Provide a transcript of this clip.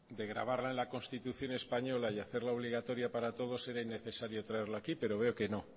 de grabarla en la constitución española y hacerla obligatoria para todos era innecesario traerla aquí pero veo que no